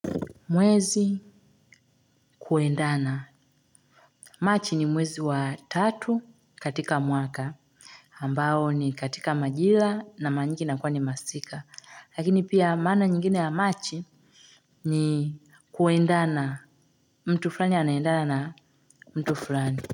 Mwezi kuendana machi ni mwezi wa tatu katika mwaka ambao ni katika majila na mara nyingi inakuwa ni masika lakini pia maana nyingine ya machi ni kuendana mtu fulani anaendana mtu fulani.